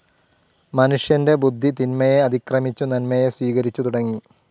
മനുഷ്യന്റെ ബുദ്ധി തിന്മയെ അതിക്രമിച്ചു നന്മയെ സ്വീകരിച്ചു തുടങ്ങി.